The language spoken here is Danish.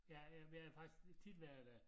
Ja øh været faktisk tit været der